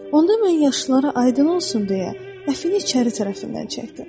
Onda mən yaşlılara aydın olsun deyə, əfini içəri tərəfindən çəkdim.